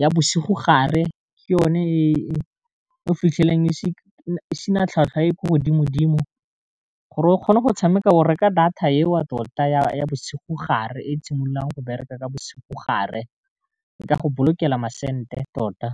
ya bosigo gare ke yone e o fitlhelang e sena tlhwatlhwa e ko godimo dimo gore o kgone go tshameka o reka data eo tota ya bosigo gare e simololang go bereka bosigo gare e ka go bolokelang ma senete tota.